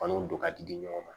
Faniw don ka di di ɲɔgɔn ma